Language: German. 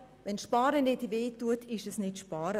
Wenn Sparen nicht wehtut, ist es kein Sparen.